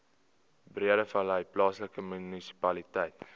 breedevallei plaaslike munisipaliteit